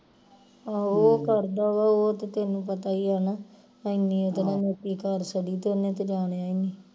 ਆਹੋ ਉਹ ਕਰਦਾ ਵਾ ਉਹ ਤੇ ਤੈਨੂੰ ਪਤਾ ਈ ਆ ਨਾ ਐਨੀ ਕਰ ਸੜੀ ਤੇ ਉਹਨੇ ਜਾਣਿਆਂ ਹੀ ਨੀ